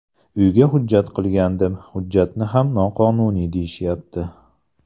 Uyga hujjat qilgandim, hujjatni ham noqonuniy deyishyapti.